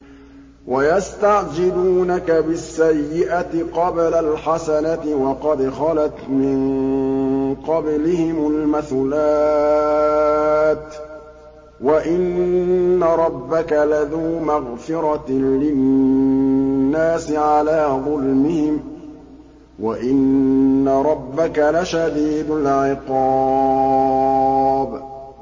وَيَسْتَعْجِلُونَكَ بِالسَّيِّئَةِ قَبْلَ الْحَسَنَةِ وَقَدْ خَلَتْ مِن قَبْلِهِمُ الْمَثُلَاتُ ۗ وَإِنَّ رَبَّكَ لَذُو مَغْفِرَةٍ لِّلنَّاسِ عَلَىٰ ظُلْمِهِمْ ۖ وَإِنَّ رَبَّكَ لَشَدِيدُ الْعِقَابِ